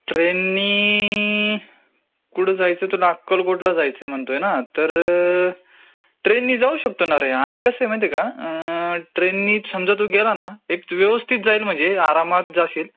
ट्रेननी ...नीनीनी...कुठे जायचं तुला..अक्कलकोटला जायचं म्हणतोय ना? हा तर ट्रेननी जाऊ शकतो ना रे. आणि कसं आहे माहितेय का, अम...अम् ट्रेननीच समजा तू गेला ना तर एक व्यवस्थित जाईल म्हणजे आरामत जाशील.